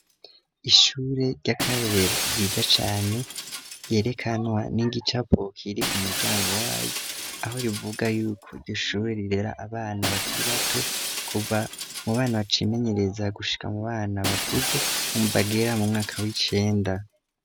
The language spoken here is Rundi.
ishure ry'akarorero ryida cane ryerekanwa n'ingicapok iri ku muryango wayo aho rivuga y'uko gishure rirera abana bakiri bato kuba mu bana bacimenyereza gushika mu bana bakuze umbagera mu mwaka w'icenda